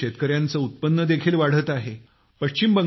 यामुळे शेतकऱ्यांचे उत्पन्न देखील वाढत आहे